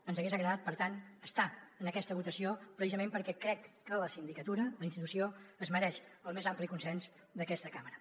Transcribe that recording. ens hagués agradat per tant estar en aquesta votació precisament perquè crec que la sindicatura la institució es mereix el més ampli consens d’aquesta cambra